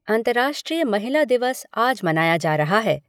अंतर्राष्ट्रीय महिला दिवस आज मनाया जा रहा है।